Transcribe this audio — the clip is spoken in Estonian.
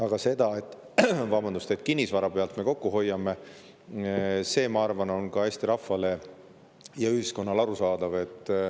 Aga see, et me kinnisvara pealt kokku hoiame, ma arvan, on Eesti rahvale ja ühiskonnale arusaadav.